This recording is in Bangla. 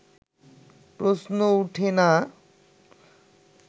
প্রশ্নই ওঠে না